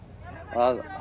að